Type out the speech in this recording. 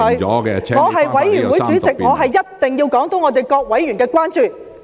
我是法案委員會的主席，我一定要說出各委員的關注。